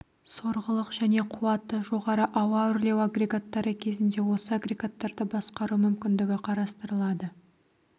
сорғылық және қуаты жоғары ауа үрлеу агрегаттары кезінде осы агрегаттарды басқару мүмкіндігі қарастырылады